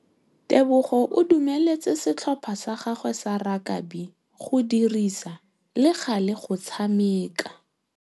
Tebogô o dumeletse setlhopha sa gagwe sa rakabi go dirisa le galê go tshameka.